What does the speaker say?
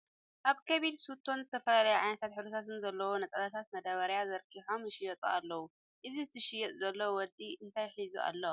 ኣብ ኮብል ስቶን ዝተፈላለዩ ዓይነት ሕብርታት ዘለዉዋ ነፀላታት መዳበርያ ዘርጊሖም ይሸጡ ኣለዉ ። እቲ ዝሐጥ ዘሎ ወዲ እንታይ ሒዙ ኣሎ ?